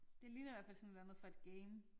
Det ligner i hvert fald sådan et eller andet fra et game